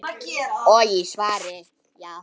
og í svari